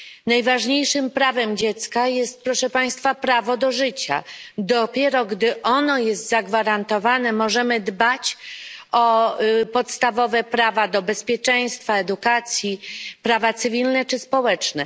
Najważniejszym prawem dziecka jest, proszę Państwa, prawo do życia, dopiero gdy ono jest zagwarantowane, możemy dbać o podstawowe prawa jak prawo do bezpieczeństwa, do edukacji, prawa cywilne czy społeczne.